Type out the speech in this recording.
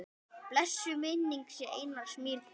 Blessuð sé minning Einars Mýrdal.